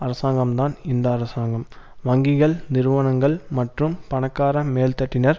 அரசாங்கம்தான் இந்த அரசாங்கம் வங்கிகள் நிறுவனங்கள் மற்றும் பணக்கார மேல்தட்டினர்